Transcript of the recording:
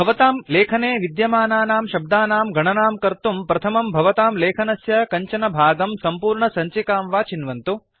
भवतां लेखने विद्यमानानां शब्दानां गणानां कर्तुं प्रथमं भवतां लेखनस्य कञ्चन भागं सम्पूर्णसञ्चिकां वा चिन्वन्तु